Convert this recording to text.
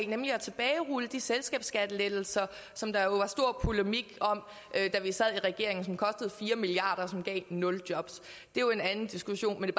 nemlig at tilbagerulle de selskabsskattelettelser som der jo var stor polemik om da vi sad i regeringen som kostede fire milliard kr og som gav nul jobs det er jo en anden diskussion men